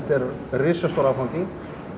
risastór áfangi